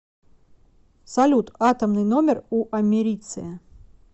салют атомный номер у америция